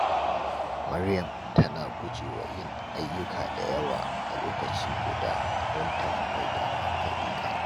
Maryam tana guje wa yin ayyuka da yawa a lokaci guda don ta fi mai da hankali kan daya.